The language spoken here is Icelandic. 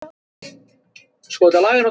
Lára: Og hvernig heldur þú að það muni ganga?